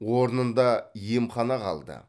орнында емхана қалды